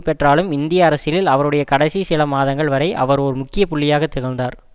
பெற்றாலும் இந்திய அரசியலில் அவருடைய கடைசி சில மாதங்கள் வரை அவர் ஒர் முக்கிய புள்ளியாக திகழ்ந்தார்